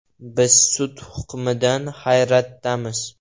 “Biz sud hukmidan hayratdamiz.